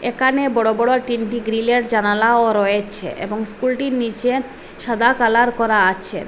একানে বড় বড় তিনটি গ্রিলের জানালাও রয়েছে এবং স্কুলটির নীচে সাদা কালার করা আছে।